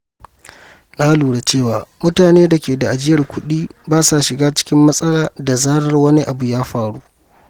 Na lura cewa mutane da ke da ajiyar kuɗi ba sa shiga cikin matsala da zarar wani abu ya faru.